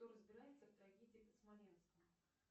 кто разбирается в трагедии под смоленском